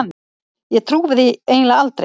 Ég trúi því eiginlega aldrei.